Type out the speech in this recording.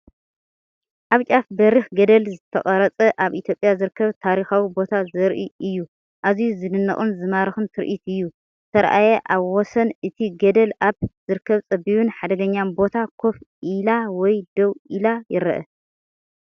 ኣብ ጫፍ በሪኽ ገደል ዝተቐርጸ ኣብ ኢትዮጵያ ዝርከብ ታሪኻዊ ቦታ ዘርኢ እዩ። ኣዝዩ ዝድነቕን ዝማርኽን ትርኢት እዩ! ዝተራእየ: ኣብ ወሰን እቲ ገደል ኣብ ዝርከብ ጸቢብን ሓደገኛን ቦታ ኮፍ ኢላ ወይ ደው ኢላ ይረአ።